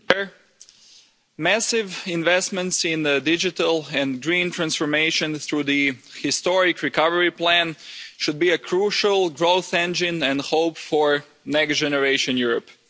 Mr President, massive investments in the digital and green transformation through the historic Recovery Plan should be a crucial growth engine and hope for Next Generation Europe.